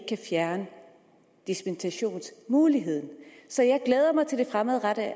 kan fjerne dispensationsmuligheden så jeg glæder mig til det fremadrettede